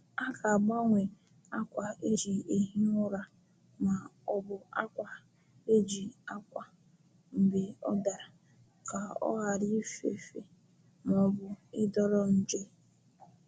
A ga-agbanwe akwa e ji ehi ụra ma ọ bụ akwa e ji akwa mgbe ọ dara ka ọ ghara ifefe ma ọ bụ ịdọrọ nje.